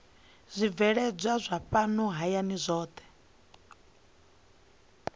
zwibveledzwa zwa fhano hayani zwohe